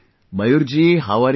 Mayur ji how are you